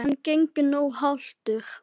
Hann gengur nú haltur.